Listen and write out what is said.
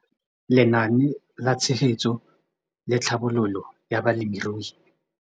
Lenaane la Tshegetso le Tlhabololo ya Balemirui.